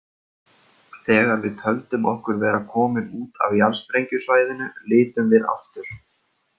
Þegar við töldum okkur vera komin út af jarðsprengjusvæðinu litum við aftur.